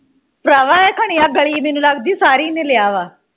ਭਰਾਵਾਂ ਇਹ ਖਣੀ ਆ ਗਲੀ ਮੈਨੂੰ ਲਗਦੀ ਸਾਰੀ ਨੇ ਲਿਆ ਵਾ